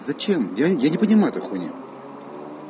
зачем я я не понимаю этой хуйни